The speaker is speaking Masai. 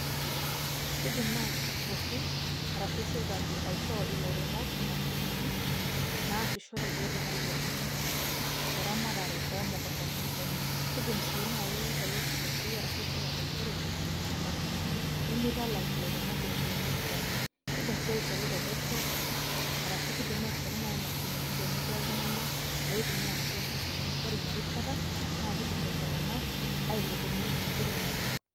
Kiidim naaji iltururi arashu sirkali aishoo ilairemok imashinini naasishore peetum ailepunyie eramatare oo mukuntani enye. Kidimu sii naaji lelo tururi arashu sirkali aishoru imashinini nimitalak ilairemok iropiyiani kumok. Kiidim sii aishoru tepesho, kiidim naaji aishoru imashinini tenobo iltunganak loitumia inaduo mashinini ore ina rishata naa kiidim iltunganak ailepunyie enkiremore.